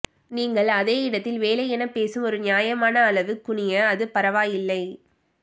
நீங்கள் அதை இடத்தில் வேலை என பேசும் ஒரு நியாயமான அளவு குனிய அது பரவாயில்லை